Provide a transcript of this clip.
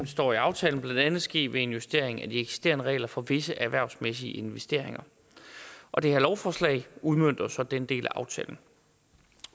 står i aftalen blandt andet ske ved en justering af de eksisterende regler for visse erhvervsmæssige investeringer og det her lovforslag udmønter så den del af aftalen